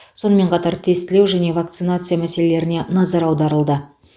сонымен қатар тестілеу және вакцинация мәселелеріне назар аударылды